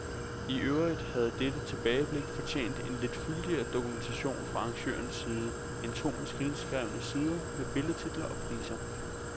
I øvrigt havde dette tilbageblik fortjent en lidt fyldigere dokumentation fra arrangørens side end to maskinskrevne sider med billedtitler og priser.